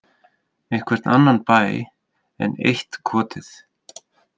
Einhvern annan bæ, enn eitt kotið.